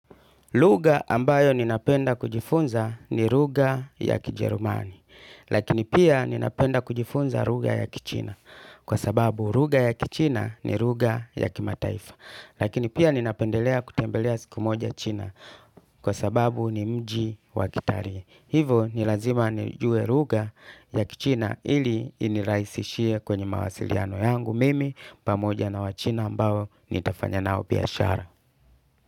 Lugha ambayo ninapenda kujifunza ni lugha ya kijerumani, lakini pia ninapenda kujifunza lugha ya kichina, kwa sababu lugha ya kichina ni lugha ya kimataifa, lakini pia ninapendelea kutembelea siku moja china, kwa sababu ni mji wa kitaii. Hivo nilazima nijue lugha ya kichina ili inirahisishie kwenye mawasiliano yangu mimi, pamoja na wachina ambao nitafanya nao biashara.